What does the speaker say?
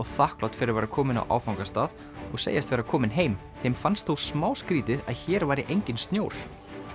þakklát fyrir að vera komin á áfangastað og segjast vera komin heim þeim fannst þó smá skrítið að hér væri enginn snjór